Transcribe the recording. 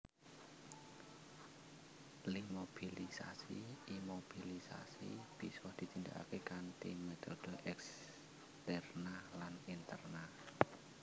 Iimobilisasi Imobilisasi bisa ditindakake kanthi metode eksterna lan interna